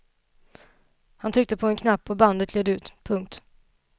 Han tryckte på en knapp och bandet gled ur. punkt